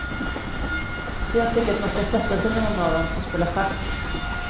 Så jag tycker att man ska sätta sig med någon av dem och spela schack.